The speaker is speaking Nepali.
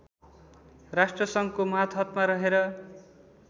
राष्ट्रसङ्घको मातहतमा रहेर